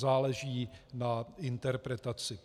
Záleží na interpretaci.